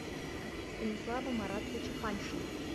станислава маратовича паньшина